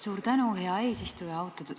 Suur tänu, hea eesistuja!